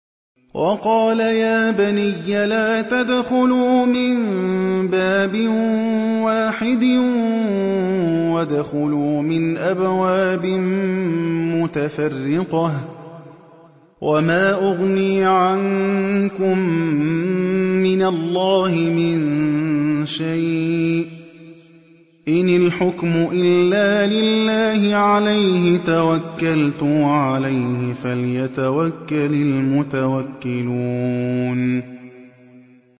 وَقَالَ يَا بَنِيَّ لَا تَدْخُلُوا مِن بَابٍ وَاحِدٍ وَادْخُلُوا مِنْ أَبْوَابٍ مُّتَفَرِّقَةٍ ۖ وَمَا أُغْنِي عَنكُم مِّنَ اللَّهِ مِن شَيْءٍ ۖ إِنِ الْحُكْمُ إِلَّا لِلَّهِ ۖ عَلَيْهِ تَوَكَّلْتُ ۖ وَعَلَيْهِ فَلْيَتَوَكَّلِ الْمُتَوَكِّلُونَ